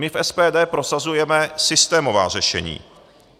My v SPD prosazujeme systémová řešení.